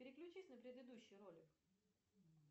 переключись на предыдущий ролик